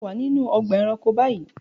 Ṣe o wa ninu ọgba ẹranko bayi?